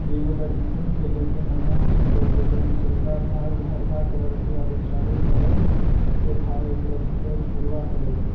इ एगो बैडमिंटन खेले के मैदान छीके जेकरा निचलका भाग हरका कलर के आरों चारो तरफ के भाग एकरा छीके बुलवा कलर के।